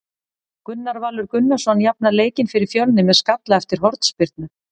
Gunnar Valur Gunnarsson jafnar leikinn fyrir Fjölni með skalla eftir hornspyrnu.